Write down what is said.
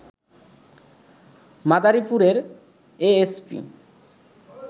মাদারীপুরের এএসপি